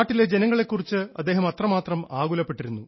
നാട്ടിലെ ജനങ്ങളെ കുറിച്ച് അദ്ദേഹം അത്രമാത്രം ആകുലപ്പെട്ടിരുന്നു